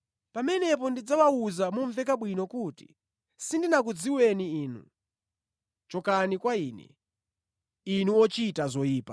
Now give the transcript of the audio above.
Pamenepo ndidzawawuza momveka bwino kuti, ‘Sindinakudziweni inu. Chokani kwa Ine, inu ochita zoyipa!’